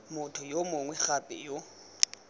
motho yo mongwe gape yo